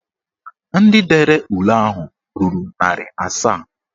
Ndị dere ule ahụ ruru narị asaa